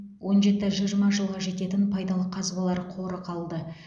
он жеті жиырма жылға жететін пайдалы қазбалар қоры қалды